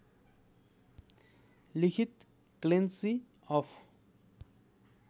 लिखित Clancy of